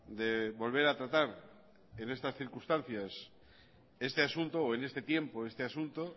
de volver a tratar en estas circunstancias este asunto o en este tiempo este asunto